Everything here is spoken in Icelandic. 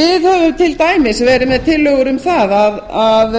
við höfum til dæmis verið með tillögur um að